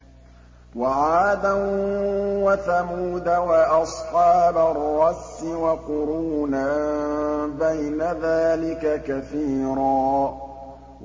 وَعَادًا وَثَمُودَ وَأَصْحَابَ الرَّسِّ وَقُرُونًا بَيْنَ ذَٰلِكَ كَثِيرًا